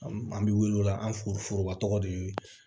An bɛ wuli o la an f foroba tɔgɔ de ye